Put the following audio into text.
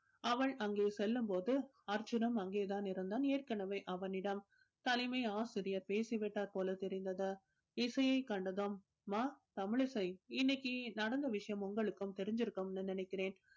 அவள் அங்கே செல்லும்போது அர்ஜுனும் அங்கே தான் இருந்தான் ஏற்கனவே அவனிடம் தலைமை ஆசிரியர் பேசிவிட்டார் போல தெரிந்தது இசையை கண்டதும் அம்மா தமிழிசை இன்னைக்கு நடந்த விஷயம் உங்களுக்கும் தெரிஞ்சிருக்கும்னு நினைக்கிறேன்